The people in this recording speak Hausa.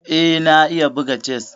Eh, na iya buga chess.